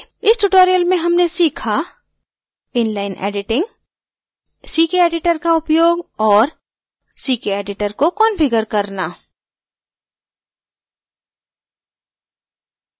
इस tutorial में हमने सीखा